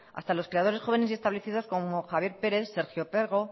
hasta los creadores jóvenes establecidos como javier pérez sergio pego